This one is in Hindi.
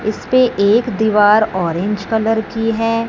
इसपे एक दीवार ऑरेंज कलर की है।